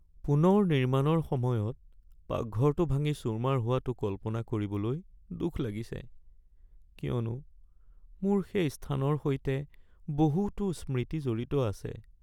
পুনৰ নিৰ্মাণৰ সময়ত পাকঘৰটো ভাঙি চুৰমাৰ হোৱাটো কল্পনা কৰিবলৈ দুখ লাগিছে, কিয়নো মোৰ সেই স্থানৰ সৈতে বহুতো স্মৃতি জড়িত আছে।